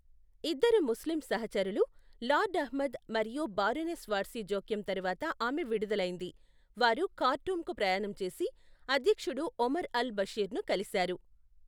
ఇద్దరు ముస్లిం సహచరులు, లార్డ్ అహ్మద్ మరియు బారోనెస్ వార్సీ జోక్యం తరువాత ఆమె విడుదలైంది, వారు ఖార్టూమ్కు ప్రయాణం చేసి అధ్యక్షుడు ఒమర్ అల్ బషీర్ని కలిశారు.